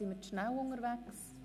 Sind wir zu schnell unterwegs?